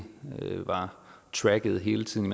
var tracket hele tiden